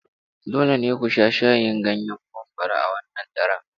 Dole ne ku sha shayin ganyen mangwaro a wannan daren.